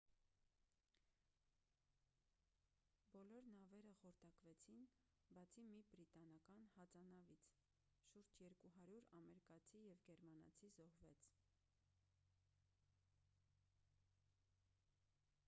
բոլոր նավերը խորտակվեցին բացի մի բրիտանական հածանավից շուրջ 200 ամերկացի և գերմանացի զոհվեց